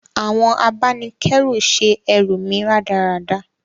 Àwon abánikẹ́ru se erù mí rádaràda